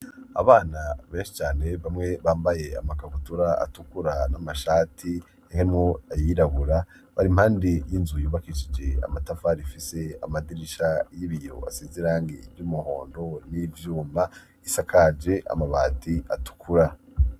Abana benshi cane bamwe bambaye amakabutura atukura n'amashati harimwo ayirabura bari impande y'inzu yubakishije amatafari ifise amadirisha y'ibiyo asize irangi ry'umuhondo n'ivyuma, isakaje amabati atukura.